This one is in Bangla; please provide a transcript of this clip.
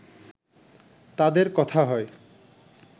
তাদের কথা হয়